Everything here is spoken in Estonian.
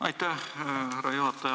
Aitäh, härra juhataja!